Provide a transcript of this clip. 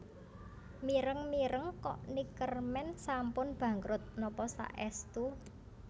Mireng mireng kok Neckermann sampun bangkrut nopo saestu